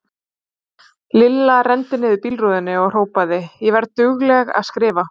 Lilla renndi niður bílrúðunni og hrópaði: Ég verð dugleg að skrifa!!